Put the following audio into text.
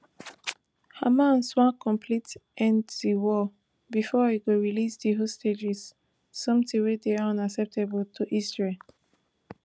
hamas want complete end to di war before e go release di hostages sometin wey dey unacceptable to israel